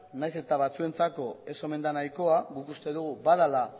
nahiz eta batzuentzako ez omen da nahikoa guk uste dugu badela